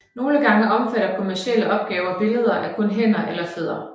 Nogle gange omfatter kommercielle opgaver billeder af kun hænder eller fødder